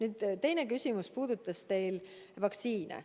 Teie teine küsimus puudutas vaktsineerimist.